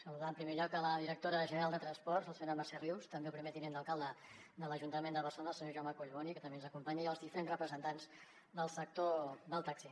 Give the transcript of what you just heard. saludar en primer lloc la directora general de transports la senyora mercè rius també el primer tinent d’alcalde de l’ajuntament de barcelona el senyor jaume collboni que també ens acompanya i els diferents representants del sector del taxi